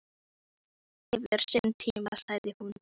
Allt hefur sinn tíma, sagði hún.